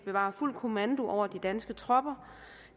bevarer fuld kommando over de danske tropper